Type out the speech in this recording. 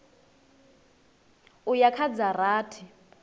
u ya kha dza rathi